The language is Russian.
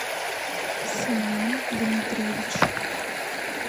семен дмитриевич